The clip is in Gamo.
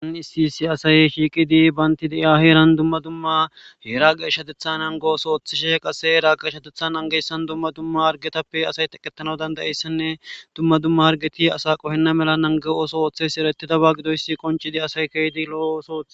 Issi issi assy shiiqqidi bantta de'iya heeran dumma dumma geeshshateththa nangos oththishe heera geeshshateththa nangiyayisan dumma dumma harggeppe asay teeqetanayisanne dumma dumma harggetti asa qoohenna mala naaggo ooththo ooththidaba gidoyssi qonccisidii asay keehidii lo'o ooso ootththi